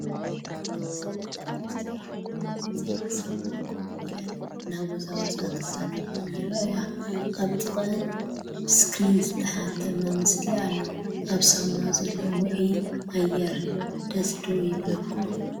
ክልተ ደቂ ኣንስትዮ ኣብ ውዑይ ዕንጨይቲ ሳውና ኮፍ ኢለን እናወዛወዛን ክሳተፋን ይረኣያ። ኣብ ጥቐአን ብስክሪን ዝተሓትመ ምስሊ ኣሎ። ኣብ ሳውና ዘሎ ውዑይ ኣየር ደስ ዶ ይብለኩም?